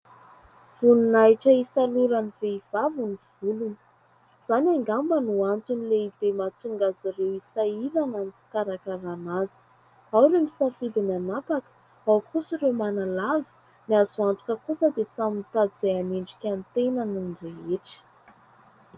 Voninahitra hisaloran'ny vehivavy ny volony. Izany ngamba no antony lehibe mahatonga azy ireo hisahirana ny fikarakarana azy. Ao ireo misafidy ny anapaka, ao kosa ireo manalava. Ny azo antoka kosa dia samy mitady izay anendrika ny tenany ny rehetra.